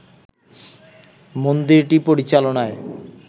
মন্দিরটি পরিচালনায়